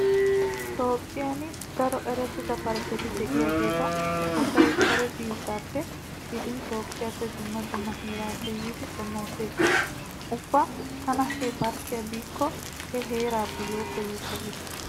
Toophphiyan daro erettida parkketi diyageeta asay kare biittappe gidin toophphiyappe dumma dumma heeraappe yiidi xomoosees. Ubba tana he parkkiya biikko he heerappe yooppa yooppa gees.